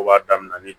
O b'a daminɛ ni